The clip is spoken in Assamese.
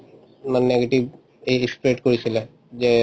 মানে negative ই spread কৰিছিলে যে